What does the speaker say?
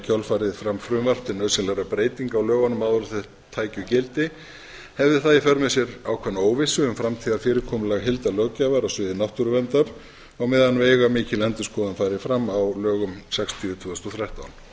kjölfarið fram frumvarp til nauðsynlegra breytinga á lögunum áður en þau tækju gildi hefði það í för með sér ákveðna óvissu um framtíðarfyrirkomulag heildarlöggjafar á sviði náttúruverndar á meðan veigamikil endurskoðun færi fram á lögum sextíu tvö þúsund og þrettán að